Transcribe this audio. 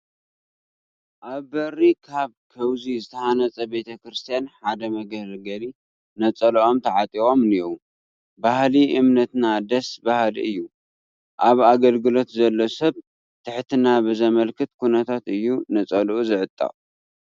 ኣብ በሪ ካብ ከውዚ ዝተሃነፀ ቤተ ክርስቲያን ሓደ መገልገሊ ነፀልኦም ተዓጢቖም እኔዉ፡፡ ባህሊ እምነትና ደስ በሃሊ እዩ፡፡ ኣብ ኣገልግሎት ዘሎ ሰብ ትሕትና ብዘመልክት ኩነታት እዩ ነፀልኡ ዝዕጠቕ፡፡